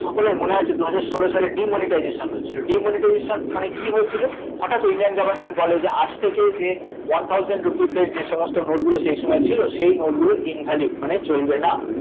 সকলের মনে আছে দুহাজার ষোলো সালে demonetization হয়েছিল demonetization মানে কী হয়েছিল? হঠাৎ Indian government বলে যে আজ থেকে যে one thousand rupees এর যে সমস্ত note গুলো সেইসময় ছিল সেই note গুলো invalid মানে চলবে না